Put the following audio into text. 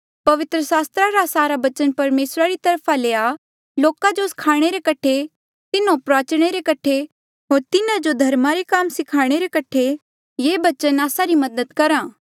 पवित्र सास्त्रा रा सारा बचन परमेसरा री तरफा ले आ लोका जो स्खाणे रे कठे तिन्हों प्रुआचणे रे कठे होर तिन्हारी गलती जो सुधारणे रे कठे होर तिन्हा जो धर्मा रे काम करणा स्खाणे रे कठे ये बचन मदद आस्सा री करहा